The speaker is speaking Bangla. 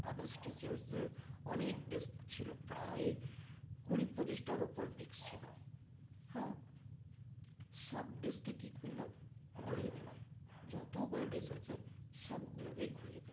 others teachers দের অনেক dish ছিল প্রায় কুড়ি পঁচিশটার উপর dish ছিল হ্যাঁ সব dish কে কি করলাম ঘুরিয়ে দিলাম যতগুলো dish আছে সবগুলোকে ঘুরিয়ে দিলাম